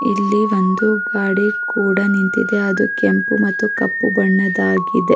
ಇಲ್ಲಿ ಒಂದು ಗಾಡಿ ಕೂಡ ನಿಂತಿದೆ ಅದು ಕೆಂಪು ಮತ್ತು ಕಪ್ಪು ಬಣ್ಣದಾಗಿದೆ.